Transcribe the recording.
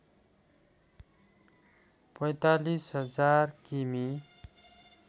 ४५ हजार किमि